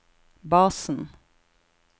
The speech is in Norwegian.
basen